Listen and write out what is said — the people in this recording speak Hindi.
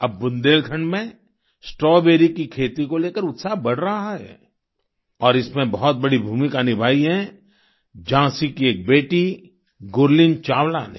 अब बुंदेलखंड में स्ट्रॉबेरी की खेती को लेकर उत्साह बढ़ रहा है और इसमें बहुत बड़ी भूमिका निभाई है झाँसी की एक बेटी गुरलीन चावला ने